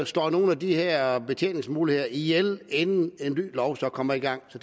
slår nogle af de her betjeningsmuligheder ihjel inden en ny lov så kommer i gang så